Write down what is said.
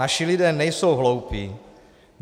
Naši lidé nejsou hloupí.